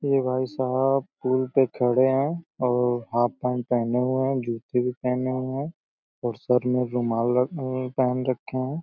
ये भाईसाहब पुल पे खड़े हैं और हाफ पेंट पहने हुए हैं। जूते भी पहने हुए हैं और सर में रुमाल रख म पहने रक्खे हैं।